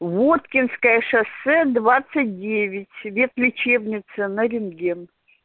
воткинское шоссе двадцать девять ветлечебница на рентген